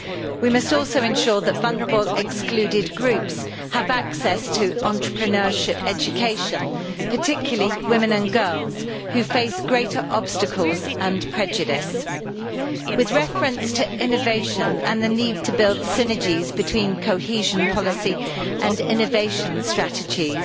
We must also ensure that vulnerable excluded groups have access to entrepreneurship education, particularly women and girls who face greater obstacles and prejudice. With reference to innovation and the need to build synergies between cohesion policy and innovation strategies,